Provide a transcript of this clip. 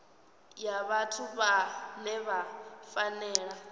ya vhathu vhane vha fanela